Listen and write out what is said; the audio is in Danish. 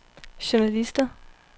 journalister